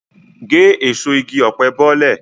Gé èso igi ọ̀pẹ bọ́lẹ̀!